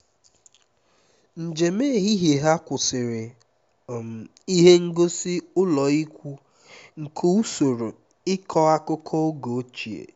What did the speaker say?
njem ehihie ha kwụsịrị um n'ihe ngosi ụlọikwuu nke usoro ịkọ akụkọ oge ochie